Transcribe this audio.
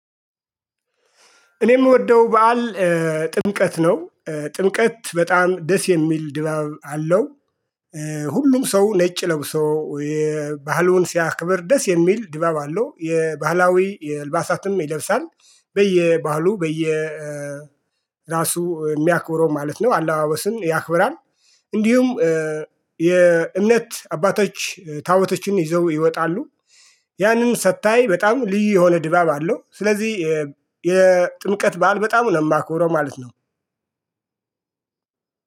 እኔ የምወደው በዓል ጥምቀት ነው ጥምቀት በጣም ደስ የሚል ድባብ አለው። ሁሉም ሰው ነጭ ለብሶ የባህሉን ሲያክብር ደስ የሚል ድባብ አለው። የባህላዊ አልባሳትም ይለብሳል በየባህሉ በየራሱ የሚያክብረው ማለት ነው። አለባበስን ያክብራል። እንዲሁም የእምነት አባቶች ታቦቶችን ይዘው ይወጣሉ። ያንን ሰታይ በጣም ልዩ የሆነ ድባብ አለው። ስለዚህ የጥምቀት በዓል በጣም ነው የማከብረው ማለት ነው።